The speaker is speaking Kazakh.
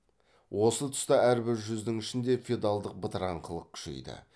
осы тұста әрбір жүздің ішінде феодалдың бытыраңқылық күшейді